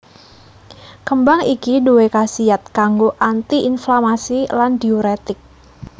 Kembang iki duwé khasiat kanggo Anti inflamasi lan Diuretik